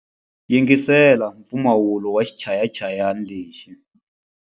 Yingisela mpfumawulo wa xichayachayani lexi.